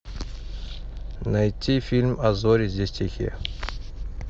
найти фильм а зори здесь тихие